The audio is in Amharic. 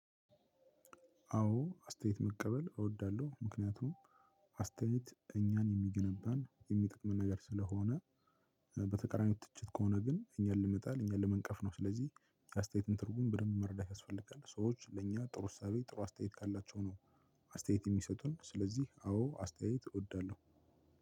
አዎ አስተያየት መቀበል እወዳለሁ። ምክንያቱም አስተያየት እኛን የሚገነባን የሚጠቅመን ነገር ስለሆነ በተቀራኒው ትችት ከሆነ ግን እኛን ለመጣል እኛን ለመንቀፍ ነው። ስለዚህ አስተያየትን ትርጉም በደንብ መርዳት ያስፈልጋል ሰዎች ለእኛ ጥሩ እሳቤ ጥሩ አስተያየት ካላቸው ነው አስተያየት የሚሰጡን ስለዚህ አዎ አስተያየት እወዳለሁ።